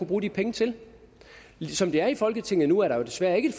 bruge de penge til som det er i folketinget nu er der desværre ikke